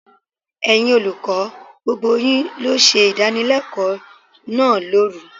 Ẹ̀yin olùkọ́, gbogbo yín ló ṣe ìdánilẹ́kọ̀ọ́ náà lóru.